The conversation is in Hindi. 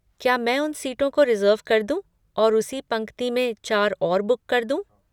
क्या मैं उन सीटों को रिज़र्व कर दूँ और उसी पंक्ति में चार और बुक कर दूँ?